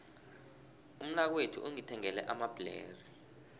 umnakwethu ungithengele amabhlere